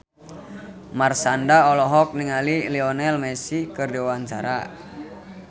Marshanda olohok ningali Lionel Messi keur diwawancara